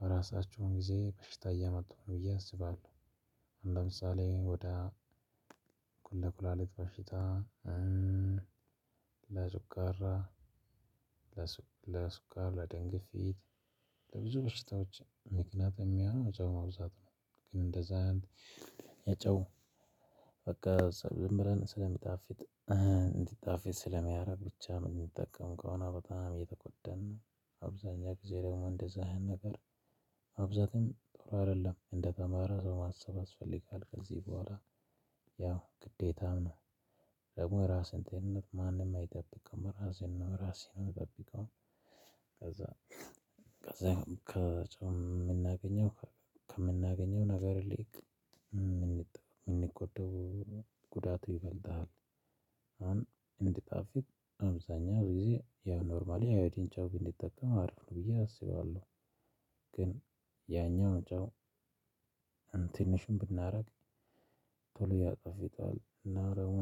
በራሳቸውን ጊዜ በሽታ እያመጡ ነው ብየ አስባለሁ። ለምሳሌ እንደ ኩላሊት በሽታ እንደ ጨጔራ። ለስዃር ለደም ግፊት ለቡዙ በሽታዎች ምክንያት የሚሆነው የጨው መብዛት ነው። በቃ ዝም ብለን ስለሚጣፊጥ እንዲጣፊጥ ስለሚያደርግ ብቻ የምንጠቀም ከሆነ በጣም እየተጎደን ነው። አብዛኛው ጊዜ ደግሞ እንደዛ አይነት ነገር አብዛኛውም ጥሩ አይደለም። እንደተማረ ሰው ማሰብ ያስፈልጋ ከዚህ በኋላ ያው ግዴታም ነው። ደግሞ የራሴን ጤንነት ማንንም አይጠብቅም የስራሴን ራሴ ነው የምጠብቀው። ከዛ የምናገኘው ከምናገኘው ነገር ይልቅ የምናጠፋው የምንጎደው ጉዳቱ ይበልጥሃል። አሁን እንዲጣፍጥ አብዛኛው ጊዜ ያው ኖርማሊ አዮዲን ጨው ብንጠቀም አሪፍ ብየ አስባለሁ። ግን ያኛው ጨው ትንሽም ብናደርግ ቶሎ ያጣፍጣል እና ደግሞ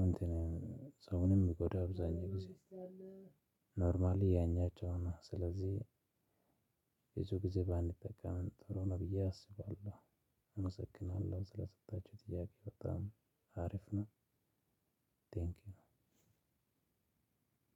ሰውንም ይጎዳል። አብዛኛው ጊዜ ኖርማሊ ያኛው ጨው ነው። ስለዚህ ብዙ ጊዜ ባንጠቀም ጥሩ ነው ብየ አስባለሁ። አመሰግናለሁ ስለሰጣችሁኝ ጥያቄ በጣም አሪፍ ነው። ቴንኪው።